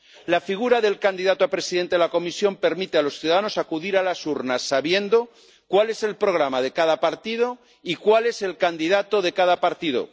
La figura del candidato a presidente de la Comisión permite a los ciudadanos acudir a las urnas sabiendo cuál es el programa de cada partido y cuál es el candidato de cada partido.